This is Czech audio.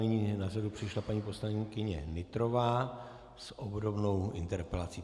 Nyní na řadu přišla paní poslankyně Nytrová s obdobnou interpelací.